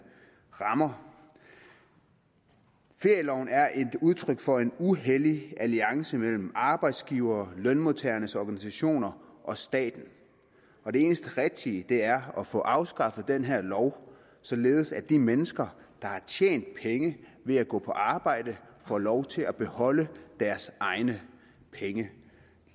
rammer ferieloven er et udtryk for en uhellig alliance mellem arbejdsgivere lønmodtagernes organisationer og staten og det eneste rigtige er at få afskaffet den her lov således at de mennesker der har tjent penge ved at gå på arbejde får lov til at beholde deres egne penge